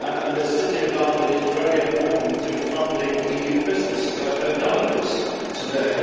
The City of London is very important in funding EU businesses. I have heard none of this today.